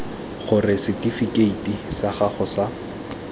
gore setifikeiti sa gago sa